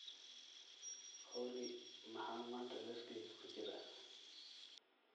olly maxaa maanta liiskayga ku jira